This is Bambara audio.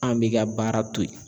An bɛ ka baara to yen